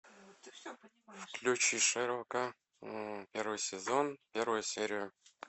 включи шерлока первый сезон первая серия